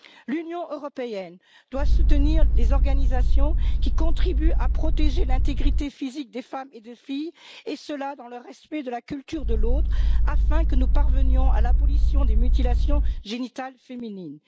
L'Union européenne doit soutenir les organisations qui contribuent à protéger l'intégrité physique des femmes et des filles, et cela dans le respect de la culture de l'autre, afin que nous parvenions à l'abolition des mutilations génitales féminines.